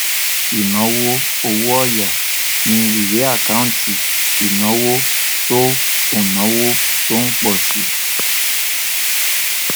ìnáwó owó òyà ni ìwé àkáǹtì ìnáwó tó ìnáwó tó ń pọ si